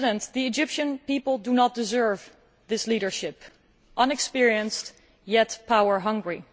The Egyptian people do not deserve this leadership inexperienced yet power hungry.